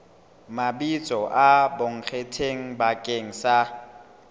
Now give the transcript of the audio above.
mabitso a bonkgetheng bakeng sa